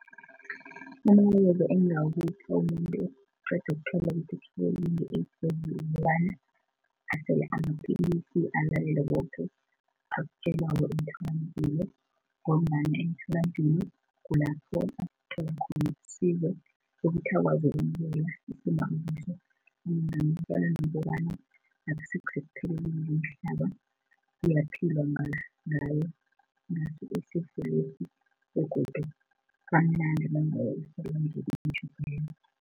Umbuzo engingawupha umuntu oqeda ukuthola ukuthi utshwayeleke nge-AIDS igcikwani kukobana, asele amapillisi, alalele koke lokho akutjelwako emtholampilo ngombana emtholampilo kulapho abathola khona isizo ukuthi akwazi ukwamukela isimo akiso. Nanyana ukwazi kobana akusisekupheleleni komhlaba kuyaphilwa ngaso isifolesi begodu nanyana anaso akutjho ukuthi kusekugcineni.